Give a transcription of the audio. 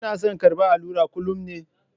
Kina son karɓar allura kullum ne?